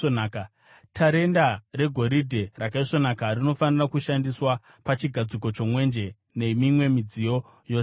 Tarenda regoridhe rakaisvonaka rinofanira kushandiswa pachigadziko chomwenje nemimwe midziyo yose iyi.